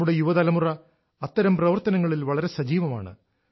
നമ്മുടെ യുവതലമുറ അത്തരം പ്രവർത്തനങ്ങളിൽ വളരെ സജീവമാണ്